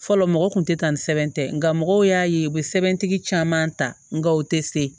Fɔlɔ mɔgɔ kun tɛ taa ni sɛbɛn tɛ nka mɔgɔw y'a ye u bɛ sɛbɛntigi caman ta nga u tɛ se